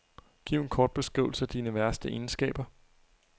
Giv en kort beskrivelse af dine værste egenskaber.